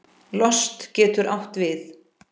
Lost getur átt við